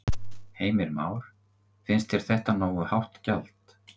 Heimir Már: Finnst þér þetta nógu hátt gjald?